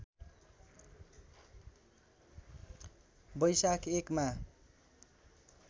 वैशाख १ मा